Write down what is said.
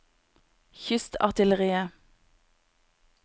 kystartilleriet